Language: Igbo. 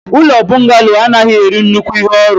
ụlọ bọngalo anaghị eri nnukwu ihe orụ.